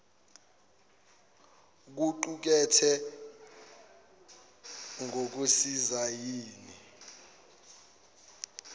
kuqu kethe ngokusisayina